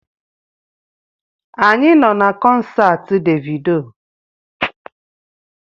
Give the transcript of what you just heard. Anyị nọ na kọnsaati Devido